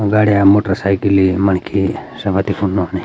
गाड़िया मोटरसाइकिल यी मणखी सगति फुंड नौखनि।